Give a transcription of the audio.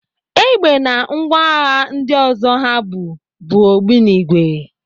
Egbe na ngwa agha ndị ọzọ ha bu bụ ogbunigwe.